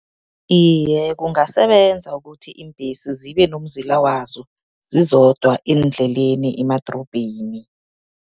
Iye, kungasebenza ukuthi iimbhesi zibenomzila wazo, zizodwa eendleleni emadrobheni.